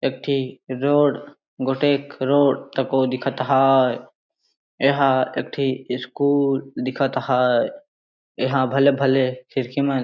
एकठी रोड गोटेक रोड तको दिखत है यहाँ एकठी स्कूल दिखत है यहाँ भले -भले खिड़कीमन --